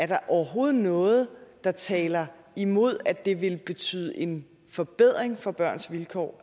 der overhovedet er noget der taler imod at det ville betyde en forbedring af børns vilkår